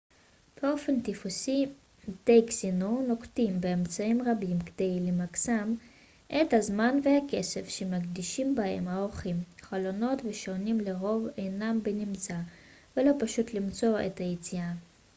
באופן טיפוסי בתי קזינו נוקטים במאמצים רבים כדי למקסם את הזמן והכסף שמקדישים בהם האורחים חלונות ושעונים לרוב אינם בנמצא ולא פשוט למצוא את היציאה